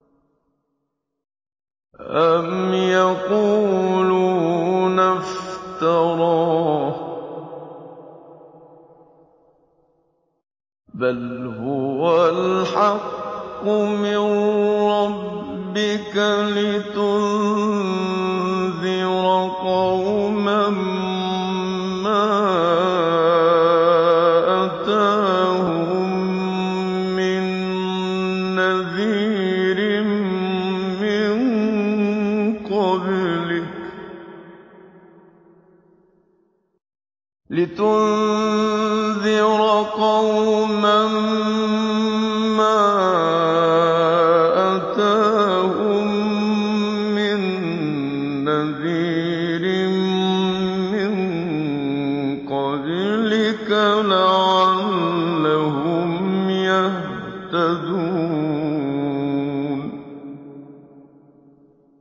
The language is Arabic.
أَمْ يَقُولُونَ افْتَرَاهُ ۚ بَلْ هُوَ الْحَقُّ مِن رَّبِّكَ لِتُنذِرَ قَوْمًا مَّا أَتَاهُم مِّن نَّذِيرٍ مِّن قَبْلِكَ لَعَلَّهُمْ يَهْتَدُونَ